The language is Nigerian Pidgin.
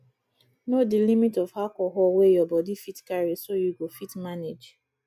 know di limit of alcohol wey your body fit carry so you go fit manage